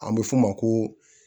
An bɛ f'o ma ko